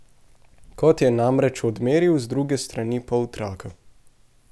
Kot je namreč odmeril z druge strani poltraka.